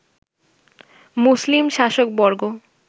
মুসলিম শাসকবর্গ